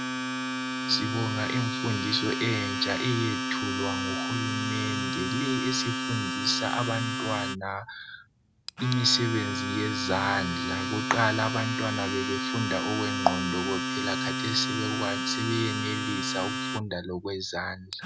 Sibonga imfundiso entsha eyethulwa nguhulumende eyokufundisa abantwana imisebenzi yezandla. Kuqala abantwana bebefunda okwengqondo kuphela kodwa kathesi sebefunda lokwezandla.